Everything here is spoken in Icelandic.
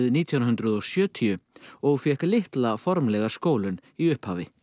nítján hundruð og sjötíu og fékk litla formlega skólun í upphafi